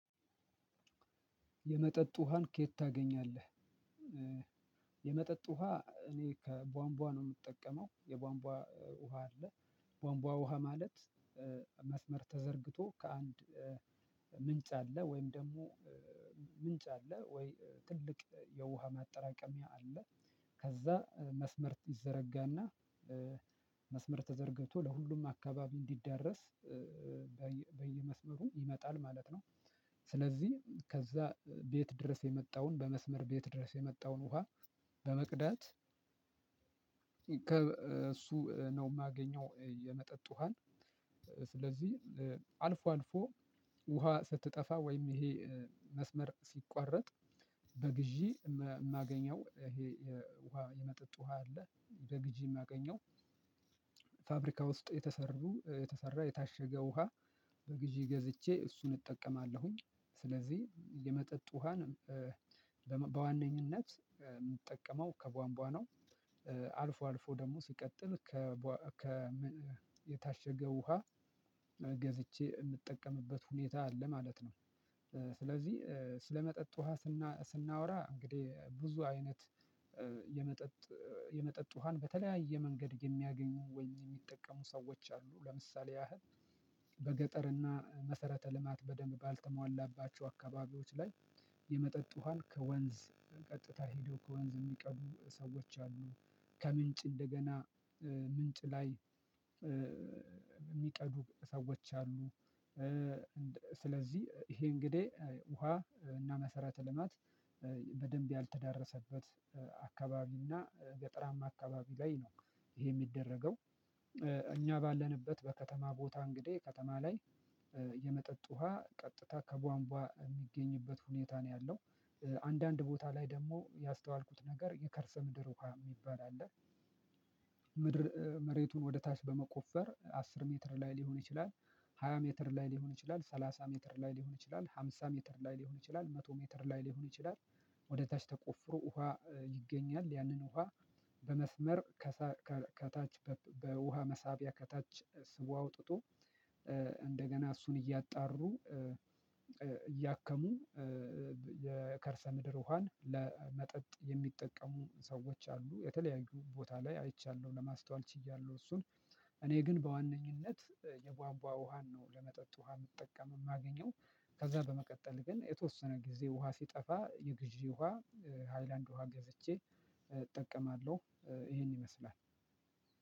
የመጠጥ ውሃን ከየት ታገኛለህ? የመጠጥ ውሃ እኔ ከቧንቧ ነው የምጠቀመው። የቧንቧ ውሃ አለ። ቧንቧ ውሃ ማለት መስመር ተዘርግቶ ከአንድ ምንጭ አለ ወይም ደግሞ ምንጭ አለ ወይ ትልቅ የውሃ ማጠራቀሚያ አለ። ከዛ መስመር ይዘረጋና መስመር ተዘርግቶ ለሁሉም አካባቢ እንዲዳረስ በየመስመሩ ይመጣል ማለት ነው። ስለዚህ ከዛ ቤት ድረስ የመጣውን በመስመር ቤት ድረስ የመጣውን ውሃ በመቅዳት እሱ ነው የማገኘው የመጠጥ ውሃን። ስለዚህ አልፎ አልፎ ውሃ ስትጠፋ ወይም ይሄ መስመር ሲቋረጥ በግዢ የማገኘው ይሄ ውሃ የመጠጥ ውሃ አለ በግዢ የማገኘው። ፋብሪካ ውስጥ የተሰሩ የተሰራ የታሸገ ውሃ በግዢ ገዝቼ እሱን እጠቀማለሁኝ። ስለዚህ የመጠጥ ውሃን በዋነኝነት የምጠቀመው ከቧንቧ ነው። አልፎ አልፎ ደግሞ ሲቀጥል ከ የታሸገ ውሃ ገዝቼ የምጠቀምበት ሁኔታ አለ ማለት ነው። ስለዚህ ስለመጠጥ ውሃ ስናወራ እንግዲህ ብዙ አይነት የመጠጥ የመጠጥ ውሃን በተለያየ መንገድ የሚያገኙ ወይም የሚጠቀሙ ሰዎች አሉ ለምሳሌ ያህል በገጠርና መሰረተ ልማት በደንብ ባልተሟላባቸው አካባቢዎች ላይ የመጠጥ ውሃን ከወንዝ ቀጥታ ሄዶ ከወንዝ የሚቀዱ ሰዎች አሉ። ከምንጭ እንደገና ምንጭ ላይ የሚቀዱ ሰዎች አሉ። ስለዚህ ይሄ እንግዲህ ውሃ እና መሰረተ ልማት በደንብ ያልተዳረሰበት አካባቢ እና ገጠራማ አካባቢ ላይ ነው። ይሄ የሚደረገው እኛ ባለንበት በከተማ ቦታ እንግዲህ ከተማ ላይ የመጠጥ ውሃ ቀጥታ ከቧንቧ የሚገኝበት ሁኔታ ነው ያለው። አንዳንድ ቦታ ላይ ደግሞ ያስተዋልኩት ነገር የከርሰ ምድር ውሃ የሚባል አለ። ምድር መሬቱን ወደ ታች በመቆፈር አስር ሜትር ላይ ሊሆን ይችላል። ሃያ ሜትር ላይ ሊሆን ይችላል ሰላሳ ሜትር ላይ ሊሆን ይችላል ሃምሳ ሜትር ላይ ሊሆን ይችላል መቶ ሜትር ላይ ሊሆን ይችላል። ወደ ታች ተቆፍሮ ውሃ ይገኛል ያንን ውሃ በመስመር ከታች በውሃ መሳቢያ ከታች ስቦ አውጥቶ እንደገና እሱን እያጣሩ እያከሙ። የከርሰ ምድር ውሃን ለመጠጥ የሚጠቀሙ ሰዎች አሉ የተለያዩ ቦታ ላይ አይቻለሁ ለማስተዋል ችያለሁ እሱን እኔ ግን በዋነኝነት የቧንቧ ውሃን ነው ለመጠጥ ውሃ የምጠቀም የማገኘው። ከዛ በመቀጠል ግን የተወሰነ ጊዜ ውሃ ሲጠፋ የግዢ ውሃ ሃይላንድ ውሃ ገዝቼ እጠቀማለሁ ይሄን ይመስላል።